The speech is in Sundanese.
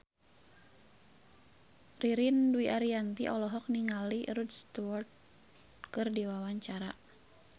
Ririn Dwi Ariyanti olohok ningali Rod Stewart keur diwawancara